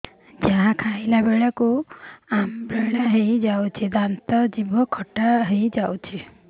ଯାହା ଖାଇଲା ବେଳକୁ ଅମ୍ଳ ହେଇଯାଉଛି ଦାନ୍ତ ଜିଭ ଖଟା ହେଇଯାଉଛି